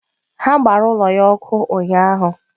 Ha gbara ụlọ ya ọkụ ụnyahụ.